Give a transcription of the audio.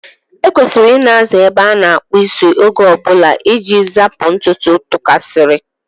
E kwesịrị Ị na-aza ebe a na-akpụ isi oge ọbụla iji zapụ ntutu tụkasiri.